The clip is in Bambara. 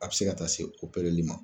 A bɛ se ka taa se opereli ma.